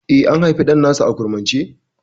Eh, an haifi ɗan nasu a kurmance?